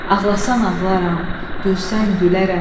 Ağlasan ağlaram, gülsən gülərəm.